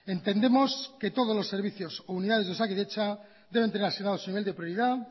entendemos que todos los servicios o unidades de osakidetza deben tener asignado su nivel de prioridad